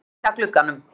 Ég geng að glugganum.